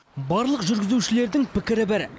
барлық жүргізушілердің пікірі бір